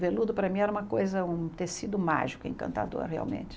Veludo para mim era uma coisa, um tecido mágico, encantador realmente.